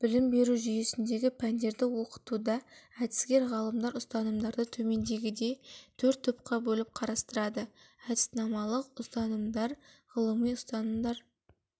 білім беру жүйесіндегі пәндерді оқытуда әдіскер-ғалымдар ұстанымдарды төмендегідей төрт топқа бөліп қарастырады әдіснамалық ұстанымдар ғылыми ұстанымдар